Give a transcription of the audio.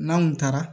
N'an kun taara